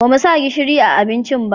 Ba mu sa gishiri a abincin ba